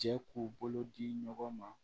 Jɛ k'u bolo di ɲɔgɔn ma